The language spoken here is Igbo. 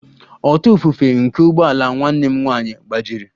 ọta ifufe nke ụgbọ ala nwanne m nwanyị gbajiri